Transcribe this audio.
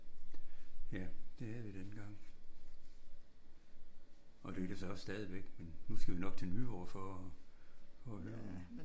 Ja det havde vi dengang. Og det lykkes også stadigvæk men nu skal vi nok til Nyborg for at høre nogen